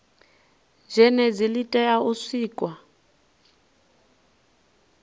zhenedzi li tea u sikwa